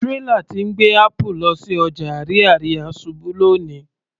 Tírélà tí ń gbé apple lọ sí ọjà Ariaria ṣubú lóni